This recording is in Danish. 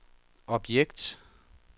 objekt